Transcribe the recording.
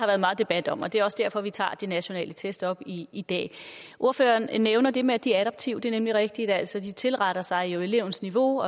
været meget debat om og det er også derfor vi tager de nationale test op i i dag ordføreren nævner det med at de er adaptive det er nemlig rigtigt altså at de tilretter sig elevens niveau